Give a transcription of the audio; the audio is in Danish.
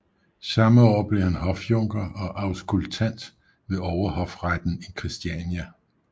Samme år blev han hofjunker og auskultant ved Overhofretten i Christiania